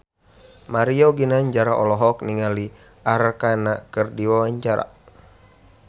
Mario Ginanjar olohok ningali Arkarna keur diwawancara